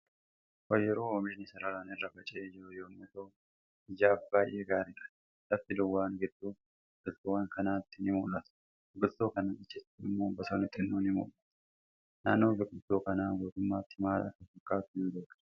Oyiruu oomishni sararaan irra faca'ee jiru yommuu ta'u ijaaf baay'ee gaariidha. Lafti duuwwaan gidduu biqiltuuwwa kanaatti ni mul'ata. Biqiltuu kanaan achitti immoo bosonni xinnoo ni mul'ata. Naannoon biqiltuu kanaa guutummaatti maal akka fakkatu hin beeknu